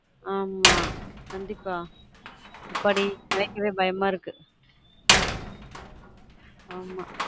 ஆமா கண்டீப்பா எப்பாடி கேட்கவே பயமா இருக்கு